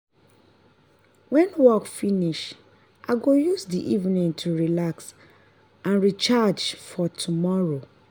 when work finish i go use the evening to relax and recharge for tomorrow.